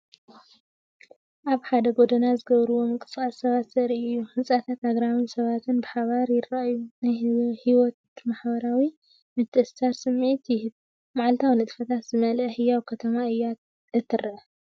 ኣብ ሓደ ጎደና ዝገብርዎ ምንቅስቓስ ሰባት ዘርኢ እዩ። ህንጻታትን ኣግራብን ሰባትን ብሓባር ይረኣዩ። ናይ ህይወትን ማሕበራዊ ምትእስሳርን ስምዒት ይህብ። መዓልታዊ ንጥፈታት ዝመልአት ህያው ከተማ እያ እተርኢ።